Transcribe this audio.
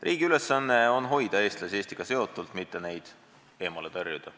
Riigi ülesanne on hoida eestlasi Eestiga seotult, mitte neid eemale tõrjuda.